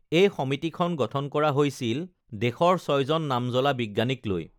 এই সমিতিখন গঠন কৰা হৈছিল দেশৰ ছয়জন নামজ্বলা বিজ্ঞানীক লৈ